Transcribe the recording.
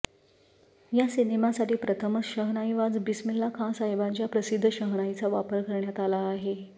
या सिनेमासाठी प्रथमच शहनाईवाज बिस्मिल्लाखाँसाहेबांच्या प्रसिद्ध शहनाईचा वापर करण्यात आला आहे